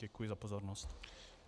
Děkuji za pozornost.